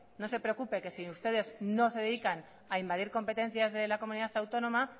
no se preocupe que si ustedes no se dedican a invadir competencias de la comunidad autónoma